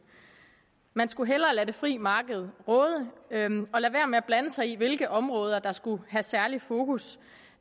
man skulle hellere lade det frie marked råde og lade være med at blande sig i hvilke områder der skulle have særlig fokus